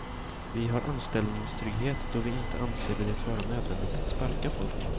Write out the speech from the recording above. Vi har anställningstrygghet, då vi inte anser det vara nödvändigt att sparka folk.